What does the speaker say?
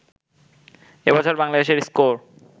এ বছর বাংলাদেশের স্কোর